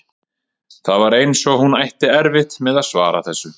Það var eins og hún ætti erfitt með að svara þessu.